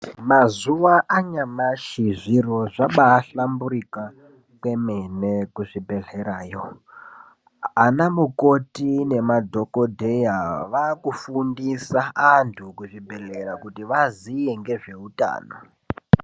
Mazuva anyamashi zviro zvaaba hlamburika kwemene kuzvibhedhlerayo ana mukoti nemadhogodheya vakufundisa antu kuzvibhedhlera kuti aziye ngezvehutano.